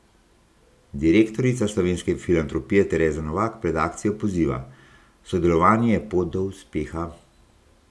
Direktorica Slovenske filantropije Tereza Novak pred akcijo poziva: "Sodelovanje je pot do uspeha.